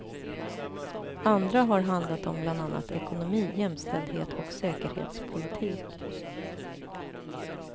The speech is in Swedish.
Andra har handlat om bland annat ekonomi, jämställdhet och säkerhetspolitik.